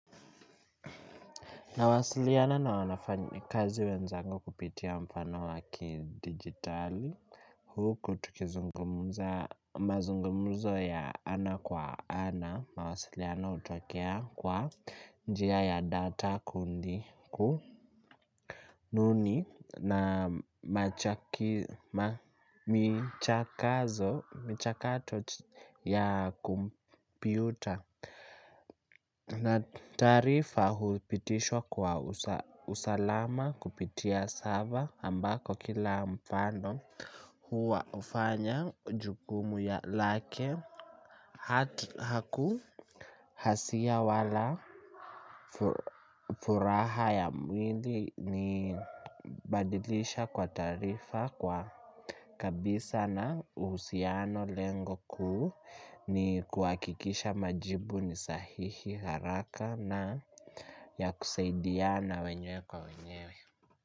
Nawasiliana na wafanyi kazi wenzangu kupitia mfano wa kidigitali. Huku tukizungumuza mazungumzo ya ana kwa ana. Mawasiliano hutokea kwa njia ya data kundi ku nuni na michakato ya kompyuta. Na taarifa hupitishwa kwa usalama kupitia server ambako kila mfano huwa ufanya jukumu ya lake. Haku hasia wala furaha ya mwili ni badilisha kwa taarifa kwa kabisa na uhusiano lengo kuu. Ni kuhakikisha majibu ni sahihi haraka na ya kusaidiana wenyewe kwa wenyewe.